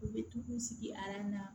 U bɛ to k'u sigi na